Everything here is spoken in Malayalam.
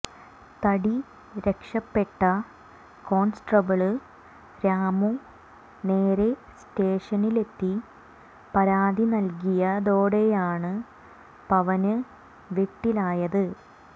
തടി രക്ഷപ്പെട്ട കോണ്സ്റ്റബിള് രാമു നേരെ സ്റ്റേഷനിലെത്തി പരാതി നല്കിയതോടെയാണ് പവന് വെട്ടിലായത്